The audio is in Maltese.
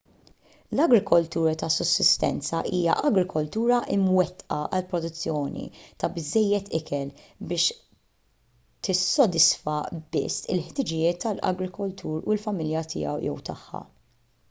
l-agrikoltura ta’ sussistenza hija agrikoltura mwettqa għall-produzzjoni ta’ biżżejjed ikel biex tissodisfa biss il-ħtiġijiet tal-agrikoltur u l-familja tiegħu/tagħha